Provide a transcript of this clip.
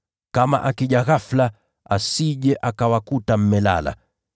Kama akija ghafula, asije akawakuta mmelala.